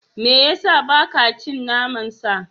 Me ya sa ba ka cin naman sa?